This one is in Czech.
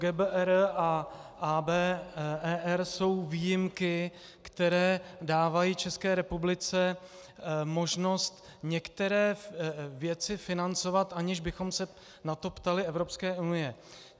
GBER a ABER jsou výjimky, které dávají České republice možnost některé věci financovat, aniž bychom se na to ptali Evropské unie.